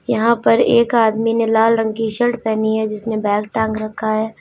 यहां पर एक आदमी ने लाल रंग की शर्ट पहनी है जिसने बैग टांग रखा है।